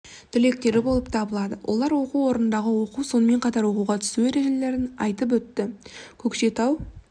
түлектері болып табылады олар оқу орнындағы оқу сонымен қатар оқуға түсу ережелерін айтып өтті көкшетау